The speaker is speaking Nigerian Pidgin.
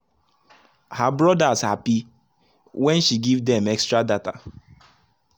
her brothers happy when she give dem extra data.